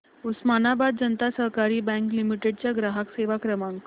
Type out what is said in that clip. उस्मानाबाद जनता सहकारी bank limited चा ग्राहक सेवा क्रमांक